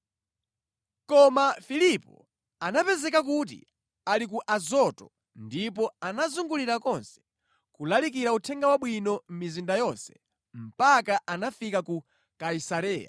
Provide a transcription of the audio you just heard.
Koma Filipo anapezeka kuti ali ku Azoto ndipo anazungulira konse, kulalikira Uthenga Wabwino mʼmizinda yonse mpaka anakafika ku Kaisareya.